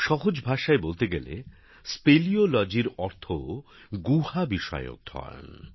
সহজ ভাষায় বলতে গেলে স্পেলিওলজির অর্থ গুহা বিষয়ে অধ্যয়ন